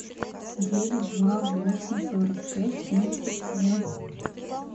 девять два восемь сорок шесть семьдесят семь